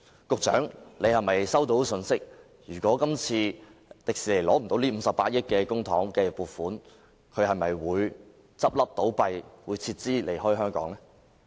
局長是否收到消息，指迪士尼如果無法得到今次這筆58億元公帑的撥款，便會倒閉和撤資離開香港呢？